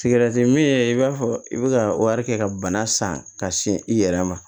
Sigɛrɛti mi i b'a fɔ i be ka kɛ ka bana san ka sin i yɛrɛ ma